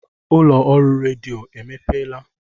Ụlọ ọrụ redio emepeela